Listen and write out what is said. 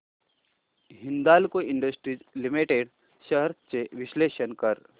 Hindalco Industries Limited shares चे विश्लेषण कर